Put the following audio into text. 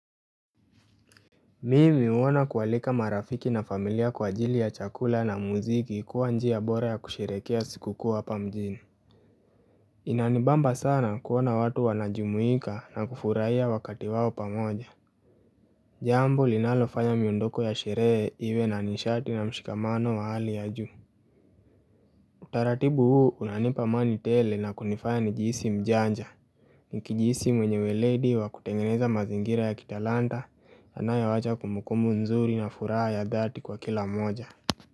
Mimi huona kualika marafiki na familia kwa ajili ya chakula na muziki kuwa njia bora ya kusherehekea sikukuu hapa mjini Inanibamba sana kuona watu wanajumuika na kufurahia wakati wao pamoja Jambo linalofanya miondoko ya sherehe iwe na nishati na mshikamano wa hali ya juu Utaratibu huu unanipa amani tele na kunifanya nijihisi mjanja Nikijihisi mwenye weledi wa kutengeneza mazingira ya kitalanta Yanayoacha kumbukumbu nzuri na furaha ya dhati kwa kila moja.